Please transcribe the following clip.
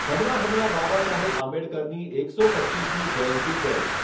હમણાં હમણાં બાબા સાહેબ આંબેડકરની એકસો પચ્ચીસમી જયંતિ ગઈ.